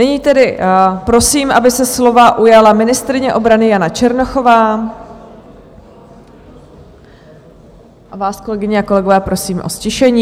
Nyní tedy prosím, aby se slova ujala ministryně obrany Jana Černochová, a vás, kolegyně a kolegové, prosím o ztišení.